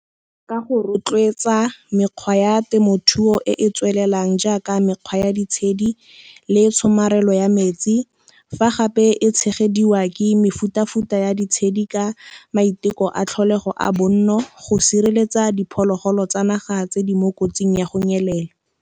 Ka go rotloetsa mekgwa ya temothuo e e tswelelang jaaka mekgwa ya ditshedi le tshomarelo ya metsi, fa gape e tshegediwa ke mefuta-futa ya ditshedi ka maiteko a tlholego a bonno, go sireletsa diphologolo tsa naga tse di mo kotsing ya go nyelela.